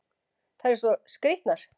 Þær eru svo skrýtnar!